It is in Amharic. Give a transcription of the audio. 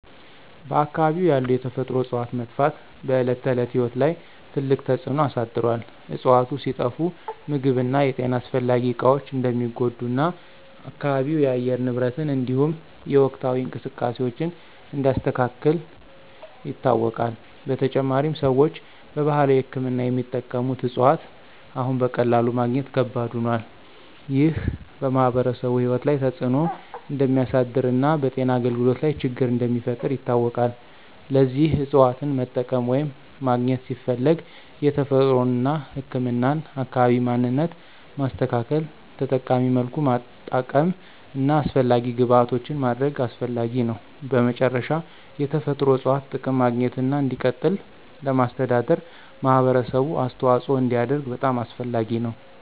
በአካባቢው ያሉ የተፈጥሮ እፅዋት መጥፋት በዕለት ተዕለት ሕይወት ላይ ትልቅ ተጽዕኖ አሳድሮአል። እፅዋቱ ሲጠፋ ምግብ እና የጤና አስፈላጊ እቃዎች እንደሚጎዱ እና አካባቢው የአየር ንብረትን እንዲሁም የወቅታዊ እንቅስቃሴዎችን እንደሚያስተካክል ይታወቃል። በተጨማሪም፣ ሰዎች በባህላዊ ሕክምና የሚጠቀሙት እፅዋት አሁን በቀላሉ ማግኘት ከባድ ሆኗል። ይህ በማኅበረሰቡ ሕይወት ላይ ተጽዕኖ እንደሚያሳድር እና በጤና አገልግሎት ላይ ችግር እንደሚፈጥር ይታወቃል። ለዚህ እፅዋትን መጠቀም ወይም ማግኘት ሲፈለግ የተፈጥሮን እና ህክምናን አካባቢ ማንነት ማስተካከል፣ ተጠቃሚ መልኩ ማጠቀም እና አስፈላጊ ግብዓቶችን ማድረግ አስፈላጊ ነው። በመጨረሻ፣ የተፈጥሮ እፅዋት ጥቅም ማግኘትና እንዲቀጥል ለማስተዳደር ማህበረሰቡ አስተዋጽኦ እንዲያደርግ በጣም አስፈላጊ ነው።